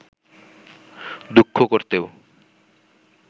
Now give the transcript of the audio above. দুঃখ করতেও